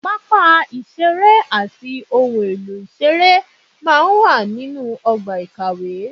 Pápá ìṣeré àti ohun èlò ìṣeré máa ń wà nínú ọgbà ìkàwé